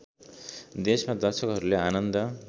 देशमा दर्शकहरूले आनन्द